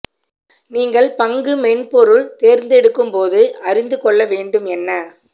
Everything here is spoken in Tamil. நீங்கள் பங்கு மென்பொருள் தேர்ந்தெடுக்கும் போது அறிந்து கொள்ள வேண்டும் என்ன